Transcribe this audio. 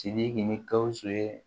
Sidiki ni gawusu ye